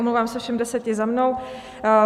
Omlouvám se všem deseti za mnou.